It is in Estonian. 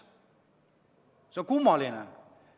See on kummaline.